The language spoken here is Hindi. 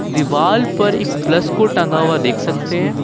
दीवाल पर एक प्लस को टंगा हुआ देख सकते हैं।